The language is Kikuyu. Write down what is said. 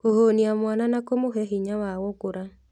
Kũhũnia mwana na kũmũhe hinya wa gũkũra